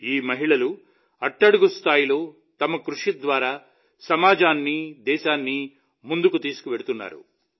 ఈ మహిళలు అట్టడుగు స్థాయిలో తమ కృషి ద్వారా సమాజాన్ని దేశాన్ని ముందుకు తీసుకెళ్తున్నారు